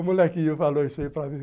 O molequinho falou isso aí para mim.